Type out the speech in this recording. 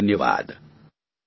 ખૂબ ખૂબ ધન્યવાદ